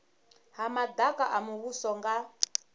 ha madaka a muvhuso nga